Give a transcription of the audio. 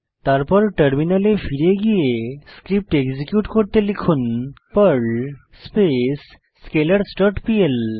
তারপর টার্মিনালে ফিরে গিয়ে স্ক্রিপ্ট এক্সিকিউট করতে লিখুন Perl space scalars dot PL